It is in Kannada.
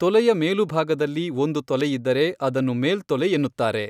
ತೊಲೆಯ ಮೇಲುಭಾಗದಲ್ಲಿ ಒಂದು ತೊಲೆಯಿದ್ದರೆ ಅದನ್ನು ಮೇಲ್ತೊಲೆ ಎನ್ನುತ್ತಾರೆ.